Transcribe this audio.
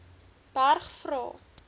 berg vra